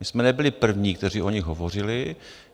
My jsme nebyli první, kteří o nich hovořili.